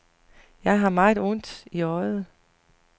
Jeg havde meget ondt i øjet.